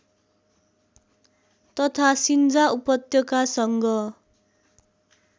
तथा सिञ्जा उपत्यकासँग